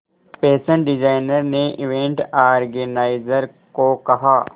fashion designer ने event organiser को कहा